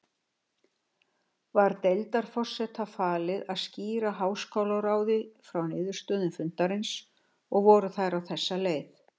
Var deildarforseta falið að skýra háskólaráði frá niðurstöðum fundarins, og voru þær á þessa leið